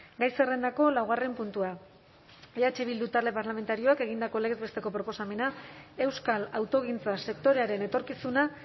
gai zerrendako laugarren puntua eh bildu talde parlamentarioak egindako legez besteko proposamena euskal autogintza sektorearen etorkizuna